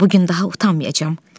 Bu gün daha utanmayacam.